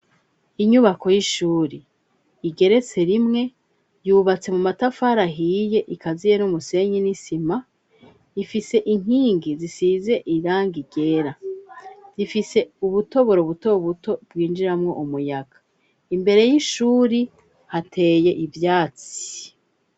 Inyubako y'ishuri igeretse rimwe, yubatse mu matafari ahiye, ikaziye n'umusenyi n'isima, ifise inkingi zisize irangi ryera, zifise ubutoboro buto buto bwinjiramwo umuyaga, imbere y'ishuri hateye ivyatsi.